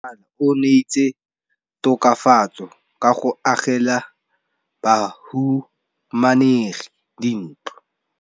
Mmasepala o neetse tokafatsô ka go agela bahumanegi dintlo.